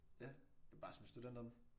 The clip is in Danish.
Ja bare som studenter